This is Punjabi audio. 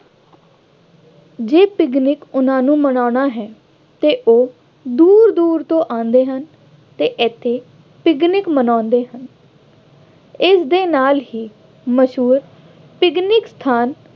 ਜੇ ਪਿਕਨਿਕ ਉੇਹਨਾ ਨੇ ਮਨਾਉਣਾ ਹੈ ਅਤੇ ਉਹ ਦੂਰ ਦੂਰ ਤੋਂ ਆਉਂਦੇ ਹਨ ਅਤੇ ਇੱਥੇ ਪਿਕਨਿਕ ਮਨਾਉਂਦੇ ਹਨ। ਇਸ ਦੇ ਨਾਲ ਹੀ ਮਸ਼ਹੂਰ ਪਿਕਨਿਕ ਸਥਾਨ